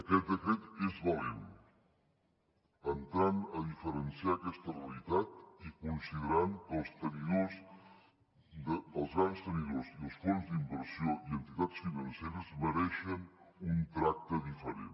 aquest decret és valent en entrar a diferenciar aquesta realitat i considerar que els grans tenidors i els fons d’inversió i entitats financeres mereixen un tracte diferent